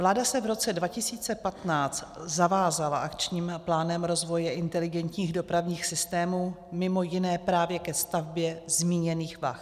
Vláda se v roce 2015 zavázala Akčním plánem rozvoje inteligentních dopravních systémů mimo jiné právě ke stavbě zmíněných vah.